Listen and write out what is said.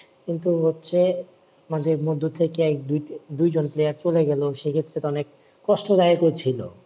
কিন্তু হচ্ছে মাঝে মধ্যে থেকে দু দুই জন player চলে গেলো সে ক্ষেত্রে তো অনেক কষ্ট লাগছিলও